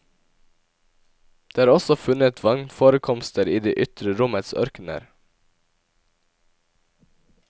Det har også funnet vannforekomster i det ytre rommets ørkener.